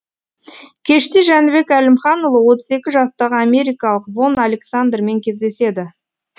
кеште жәнібек әлімханұлы отыз екі жастағы америкалық вон александрмен кездеседі